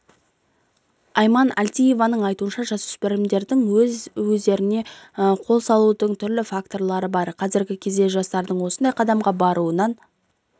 айман әлтиеваның айтуынша жасөспірімдердің өз-өздеріне қол салудың түрлі вакторы бар қазіргі кезде жастардың осындай қадамға баруынын